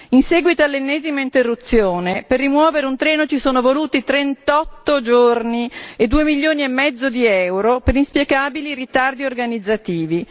In seguito all'ennesima interruzione per rimuovere un treno ci sono voluti 38 giorni e 2 milioni e mezzo di euro per inspiegabili ritardi organizzativi.